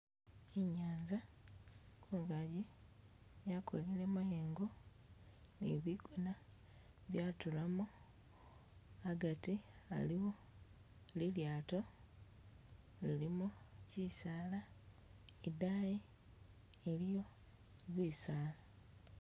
I'nyaanza kungaji yakolile mayengo, ni bigoona byatulamu agati aliwo lilyaato lilimu, kisaala idayi iliyo bisaala.